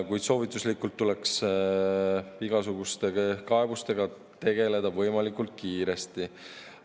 Kuid soovituslikult tuleks igasuguste kaebustega tegeleda võimalikult kiiresti.